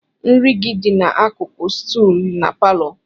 Nri gị dị n'akụkụ stuulu na palọ.